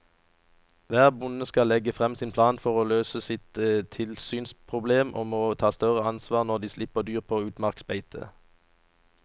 Hver bonde skal legge frem sin plan for å løse sitt tilsynsproblem og må ta større ansvar når de slipper dyr på utmarksbeite.